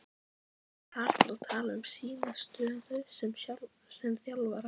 Er hann þar að tala um sína stöðu sem þjálfara?